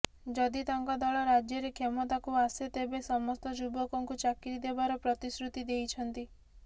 ଯଦି ତାଙ୍କ ଦଳ ରାଜ୍ୟରେ କ୍ଷମତାକୁ ଆସେ ତେବେ ସେ ସମସ୍ତ ଯୁବକଙ୍କୁ ଚାକିରି ଦେବାର ପ୍ରତିଶୃତି ଦେଇଛନ୍ତି